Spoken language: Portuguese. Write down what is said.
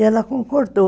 E ela concordou.